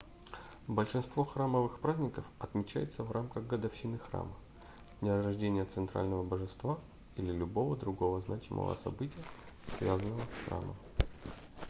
большинство храмовых праздников отмечается в рамках годовщины храма дня рождения центрального божества или любого другого значимого события связанного с храмом